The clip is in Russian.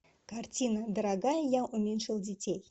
картина дорогая я уменьшил детей